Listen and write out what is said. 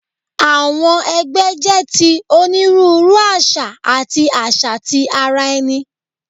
Awọn ẹgbẹ jẹ ti oniruuru aṣa ati aṣa ti ara ẹni